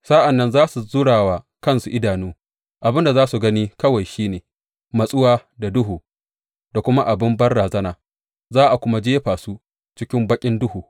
Sa’an nan za su zura wa ƙasa idanu, abin da za su gani kawai shi ne matsuwa da duhu da kuma abin banrazana, za a kuma jefa su cikin baƙin duhu.